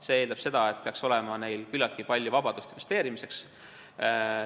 See eeldab, et neil peaks olema küllalt palju vabadust investeerimiseks.